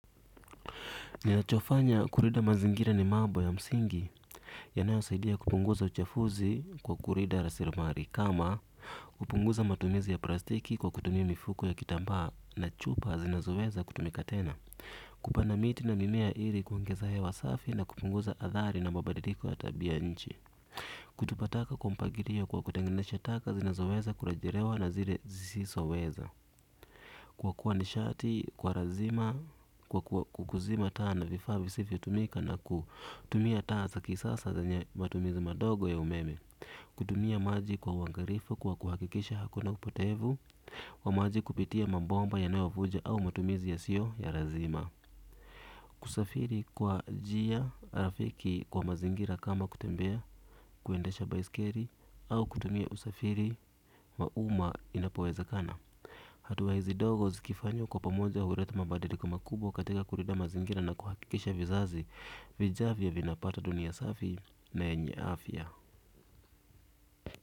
Ninachofanya kulinda mazingira ni mambo ya msingi. Yanayo saidia kupunguza uchafuzi kwa kulida rasilmali. Kama kupunguza matumizi ya plastiki kwa kutumia mifuko ya kitambaa na chupa zinazoweza kutumika tena. Kupanda miti na mimea ili kuongeza hewa safi na kupunguza athari na mabadiliko ya tabia ya nchi. Kutupa taka kwa mpagilio kwa kutenganisha taka zinazoweza kurejelewa na zile zisizoweza. Kuokoa nishati kwa lazima, kwa kuzima taa na vifaa visivyo tumika na kutumia taa za kisasa zenye matumizi madogo ya umeme. Kutumia maji kwa uangalifu, kwa kuhakikisha hakuna upotevu, wa maji kupitia mabomba yanayovuja au matumizi yasiyo ya lazima. Kusafiri kwa njia, rafiki kwa mazingira kama kutembea, kuendesha baiskeli, au kutumia usafiri, wa umma inapowezekana. Hatuwa hizi ndogo zikifanywa kwa pamoja huleta mabadiliko makubwa katika kulinda mazingira na kuhakikisha vizazi vijavyo vinapata dunia safi na yenye afya.